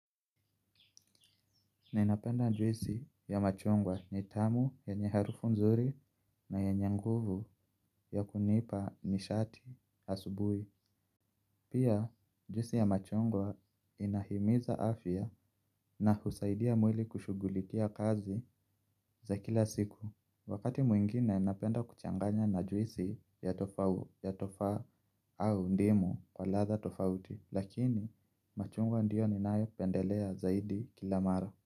Ninapenda juisi ya machungwa ni tamu yenye harufu nzuri na yenye nguvu ya kunipa nishati asubui. Pia juisi ya machungwa inahimiza afya na husaidia mwili kushughulikia kazi za kila siku. Wakati mwingine, napenda kuchanganya na juisi ya tofawu ya tofaa au ndimu kwa latha tofauti. Lakini, machungwa ndio ninayopendelea zaidi kila mara.